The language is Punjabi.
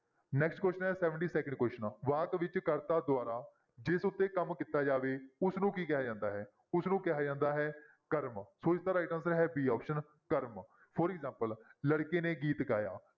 Next question ਹੈ seventy second question ਆ, ਵਾਕ ਵਿੱਚ ਕਰਤਾ ਦੁਆਰਾ ਜਿਸ ਉੱਤੇ ਕੰਮ ਕੀਤਾ ਜਾਵੇ ਉਸਨੂੰ ਕੀ ਕਿਹਾ ਜਾਂਦਾ ਹੈ ਉਸਨੂੰ ਕਿਹਾ ਜਾਂਦਾ ਹੈ ਕਰਮ, ਸੋ ਇਸਦਾ right answer ਹੈ b option ਕਰਮ for example ਲੜਕੇ ਨੇ ਗੀਤ ਗਾਇਆ।